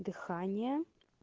дыхание